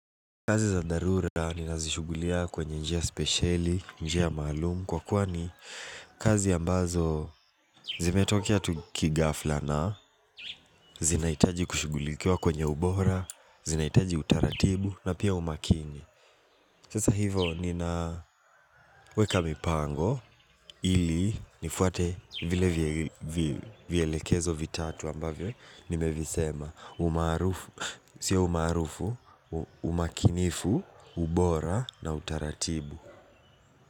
Kazi za dharura ninazishugulikia kwenye njia spesheli, njia maalumu Kwa kuwa ni kazi ambazo zimetokea tu kighafla na zinahitaji kushugulikiwa kwenye ubora, zinahitaji utaratibu na pia umakini. Sasa hiyvo ninaweka mipango ili nifuate vile vielekezo vitatu ambavyo nimevisema. Si ya umaarufu, umakinifu, ubora na utaratibu.